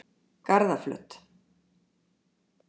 Garðaflöt